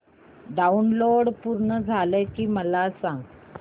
download पूर्ण झालं की मला सांग